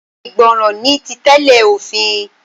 Ìgbọràn ni títẹ̀lé òfin.